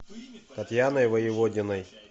татьяной воеводиной